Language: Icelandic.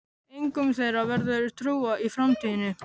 Engum þeirra verður trúað í framtíðinni.